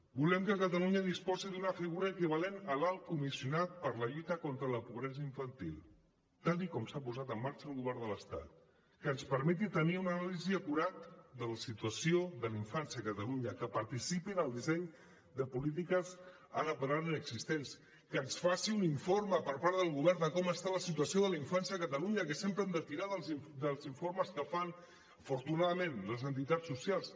volem que catalunya disposi d’una figura equivalent a l’alt comissionat per a la lluita contra la pobresa infantil tal com s’ha posat en marxa al govern de l’estat que ens permeti tenir una anàlisi acurada de la situació de la infància a catalunya que participi en el disseny de polítiques ara per ara inexistents que ens faci un informe per part del govern de com està la situació de la infància a catalunya que sempre hem d’estirar dels informes que fan afortunadament les entitats socials